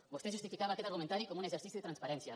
vostè justificava aquest argumentari com un exercici de transparència